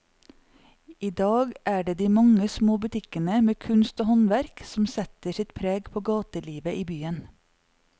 I dag er det de mange små butikkene med kunst og håndverk som setter sitt preg på gatelivet i byen.